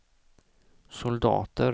soldater